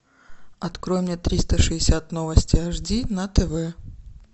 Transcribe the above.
открой мне триста шестьдесят новости аш ди на тв